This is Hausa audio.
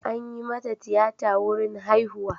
An yi mata tiyata wurin haihuwa.